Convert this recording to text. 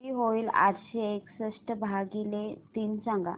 किती होईल आठशे एकसष्ट भागीले तीन सांगा